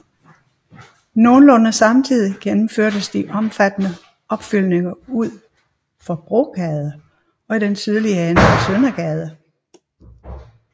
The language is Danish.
Nogenlunde samtidig gennemføres de omfattende opfyldninger ud for Brogade og i den sydlige ende af Søndergade